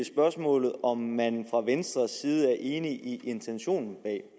spørgsmålet om om man fra venstres side er enig i intentionen bag